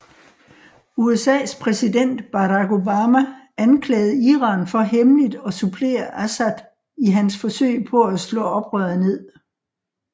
USAs præsident Barack Obama anklagede Iran for hemmeligt at supplere Assad i hans forsøg på at slå oprør ned